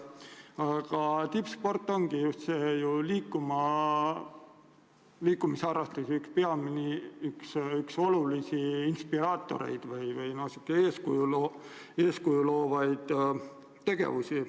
Aga tippsport on eeskuju loova tegevusena liikumisharrastuse olulisi inspireerijaid.